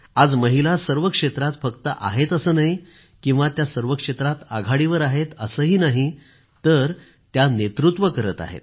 आज सर्व क्षेत्रात फक्त महिला आहेत असं नाही किंवा त्या सर्व क्षेत्रात आघाडीवर आहेत असंही नाही तर त्या नेतृत्व करत आहेत